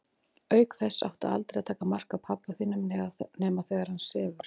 Auk þess áttu aldrei að taka mark á pabba þínum nema þegar hann sefur.